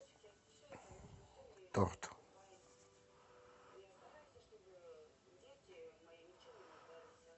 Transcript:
торт